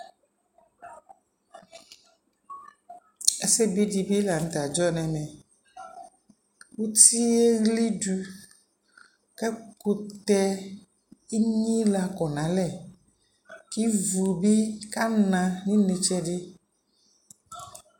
Ɛsɛ bi di bi la ntɛ adzɔ nɛ mɛutie wli du kɛkutɛ ɛnyi la kɔ na lɛKi vu bi ka na nu ne tsɛ di